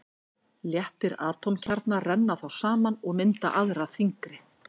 Léttir atómkjarnar renna þá saman og mynda aðra þyngri.